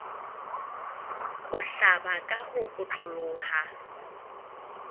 ho hlaba ka ho otloloha